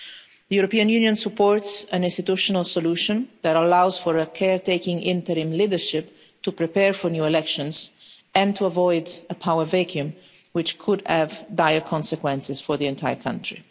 The European Union supports an institutional solution that allows for a caretaker interim leadership to prepare for new elections and to avoid a power vacuum which could have dire consequences for the entire country.